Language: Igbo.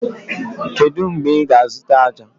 Kedu mgbe ị ga-azụta ájá?